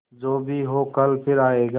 जो भी हो कल फिर आएगा